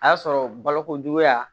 A y'a sɔrɔ balokojuguya